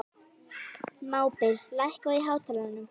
Mábil, lækkaðu í hátalaranum.